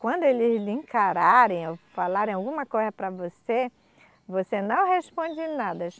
Quando eles lhe encararem ou falarem alguma coisa para você, você não responde nada.